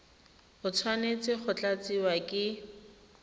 e tshwanetse go tlatsiwa ke